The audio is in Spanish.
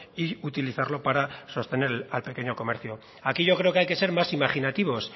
y utilizarlo para sostener al pequeño comercio aquí yo creo que hay que ser más imaginativos